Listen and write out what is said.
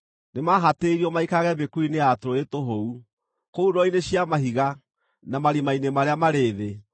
Nĩmahatĩrĩirio maikarage mĩkuru-inĩ ya tũrũũĩ tũhũu, kũu ndwaro-inĩ cia mahiga na marima-inĩ marĩa marĩ thĩ.